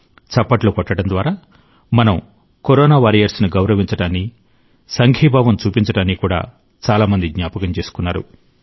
చప్పట్లు కొట్టడం ద్వారా మన కరోనా వారియర్స్ ను గౌరవించడాన్ని సంఘీభావం చూపించడాన్ని కూడా చాలా మంది జ్ఞాపకం చేసుకున్నారు